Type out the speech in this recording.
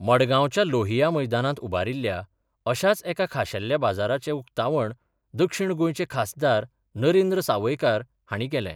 मडगांवच्या लोहिया मैदानांत उबारिल्ल्या अशाच एका खाशेल्या बाजाराचे उक्तावण दक्षिण गोंयचे खासदार नरेंद्र सावयकार हांणी केलें.